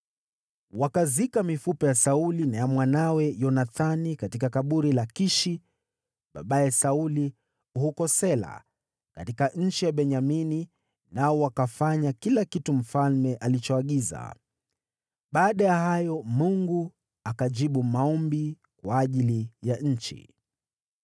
Wakazika mifupa ya Sauli na ya mwanawe Yonathani katika kaburi la Kishi, babaye Sauli, huko Sela katika nchi ya Benyamini, nao wakafanya kila kitu mfalme alichoagiza. Baada ya hayo, Mungu akajibu maombi kwa ajili ya nchi.